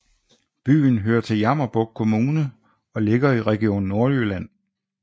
Byen hører til Jammerbugt Kommune og ligger i Region Nordjylland